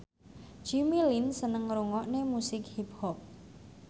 Jimmy Lin seneng ngrungokne musik hip hop